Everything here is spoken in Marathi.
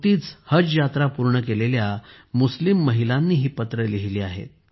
नुकतीच हज यात्रा पूर्ण केलेल्या मुस्लिम महिलांनी ही पत्रे लिहिली आहेत